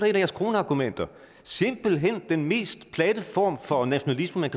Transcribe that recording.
jeres kronargumenter simpelt hen den mest platte form for nationalisme